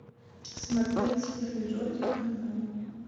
смотреть фильм джокер онлайн